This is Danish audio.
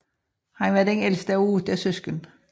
Han var den ældste af 8 søskende